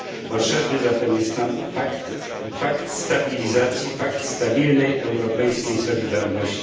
Potrzebny jest nam zatem pakt stabilizacji, pakt stabilnej europejskiej solidarności.